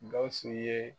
Gawusu ye